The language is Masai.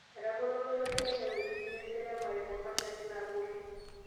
Etagolo olosho le Kenya wuejitin eseremare te masharti naagoli